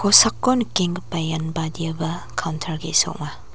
nikenggipa ian badiaba kauntar ge·sa ong·a.